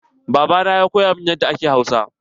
Baba na ya koya min yadda ake Hausa.